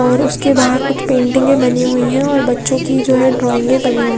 और उसके बाहर कुछ पैंटिंगे बानी हुयी है और बच्चो की जो है ड्राइंग बानी हुयी --।